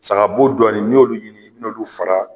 Sagabo dɔɔni n'i y'olu ɲini n'i y'olu fara